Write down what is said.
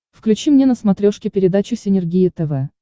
включи мне на смотрешке передачу синергия тв